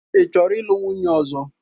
Ị chọrọ ịlụ nwunye ọzọ?